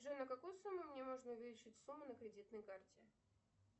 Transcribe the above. джой на какую сумму мне можно увеличить сумму на кредитной карте